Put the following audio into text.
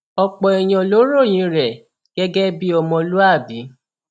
ọpọ èèyàn ló ròyìn rẹ gẹgẹ bíi ọmọlúàbí